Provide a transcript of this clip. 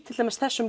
þessum